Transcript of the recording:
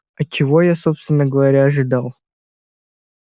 а чего я собственно говоря ожидал